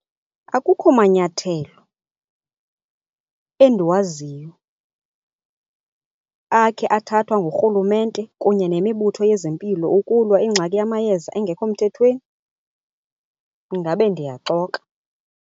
Akukho manyathelo endiwaziyo akhe athathwa nguRhulumente kunye nemibutho yezempilo ukulwa ingxaki yamayeza engekho mthethweni, ndingabe ndiyaxoka.